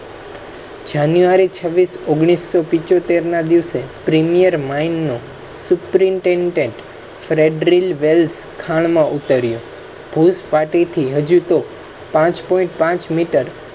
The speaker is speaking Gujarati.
january ઓગણીસ પંચોતેર ના દિવસે premier mines નો superintendent wealth ખાન ના ઉતારિયો. પાર્ટી થી હજુ તો. પાંચ point પાંચ